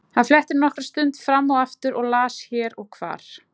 Hann fletti nokkra stund fram og aftur og las hér og hvar.